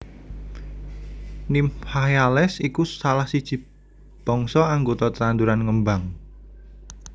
Nymphaeales iku salah siji bangsa anggota tetanduran ngembang